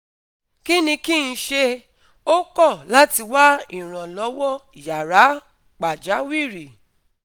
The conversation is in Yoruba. Kí ni kí n ṣe? Ó kọ̀ láti wá ìrànlọ́wọ́ yàrá pàjáwìrì